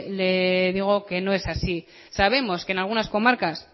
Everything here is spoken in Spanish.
le digo que no es así sabemos que en algunas comarcas